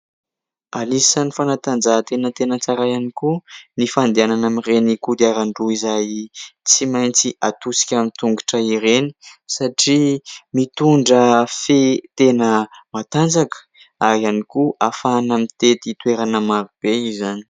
Anisany fanatanjahantena tena tsara ihany koa ny fandehanana amin'ireny kodiaran-droa izay tsy maintsy hatosika amin'ny tongotra ireny satria mitondra fe tena matanjaka ary ihany koa ahafahana mitety toerana maro be izany.